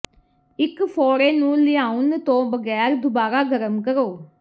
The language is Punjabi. ਇੱਕ ਫ਼ੋੜੇ ਨੂੰ ਲਿਆਉਣ ਤੋਂ ਬਗੈਰ ਦੁਬਾਰਾ ਗਰਮ ਕਰੋ